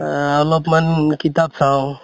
আহ অলপ মান কিতাপ চাওঁ